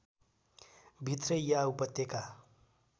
भित्रै या उपत्यका